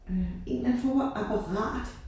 Øh en en eller anden form for apparat